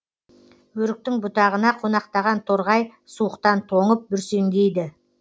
өріктің бұтағына қонақтаған торғай суықтан тоңып бүрсеңдейді